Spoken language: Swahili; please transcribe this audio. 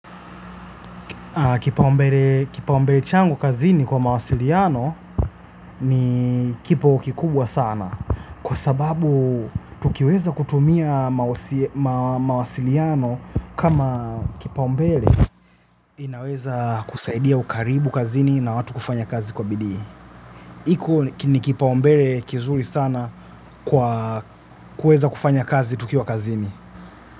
Kipaumbele changu kazini kwa mawasiliano ni kipo kikubwa sana. Kwa sababu tukiweza kutumia mawasiliano kama kipaumbele. Inaweza kusaidia ukaribu kazini na watu kufanya kazi kwa bidii. Iko ni kipaumbele kizuri sana kwa kuweza kufanya kazi tukiwa kazini.